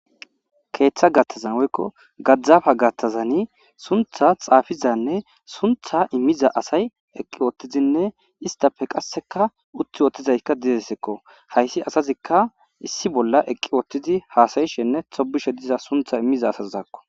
Keththa gathazan woykko gadzdzafa gaththani sunththa xafiza asaynne sunththa imiza asay Ewing utidinne utility utidaysatika dosonako haysi asanayko sunththa imiza nne tobiza asatako